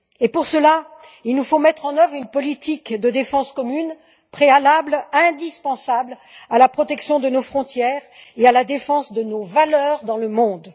Pour cela, il nous faut mettre en œuvre une politique de défense commune, préalable indispensable à la protection de nos frontières et à la défense de nos valeurs dans le monde.